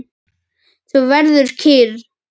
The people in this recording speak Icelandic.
Þú verður kyrr.